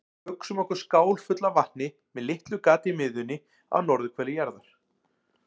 Hugsum okkur skál fulla af vatni með litlu gati í miðjunni á norðurhveli jarðar.